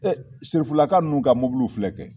Ee sirifilaka ninnu ka mobiliw filɛ kɛ